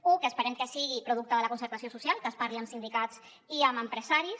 u que esperem que sigui producte de la concertació social que es parli amb sindicats i amb empresaris